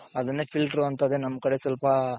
ಅದನ್ನೇ filter ಅಂತದೆ ನಮ್ ಕಡೆ ಸ್ವಲ್ಪ,